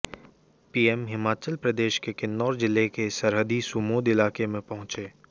PM Himachal Pradesh के किन्नौर जिले के सरहदी सुमोध इलाके में पहुंचे